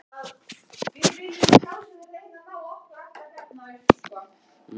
Í áróðri sínum báru vesturfararnir fram margt það sem